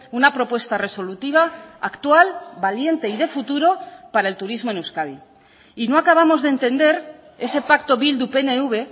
una propuesta resolutiva actual valiente y de futuro para el turismo en euskadi y no acabamos de entender ese pacto bildu pnv